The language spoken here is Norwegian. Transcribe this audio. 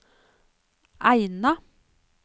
Eina